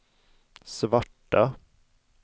svarta